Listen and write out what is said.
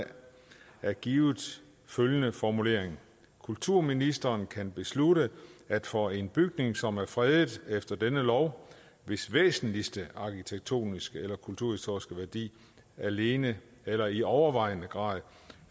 er blevet givet følgende formulering kulturministeren kan beslutte at for en bygning som er fredet efter denne lov hvis væsentlige arkitektoniske eller kulturhistoriske værdi alene eller i overvejende grad